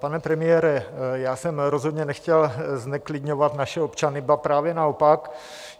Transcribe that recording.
Pane premiére, já jsem rozhodně nechtěl zneklidňovat naše občany, ba právě naopak.